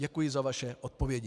Děkuji za vaše odpovědi.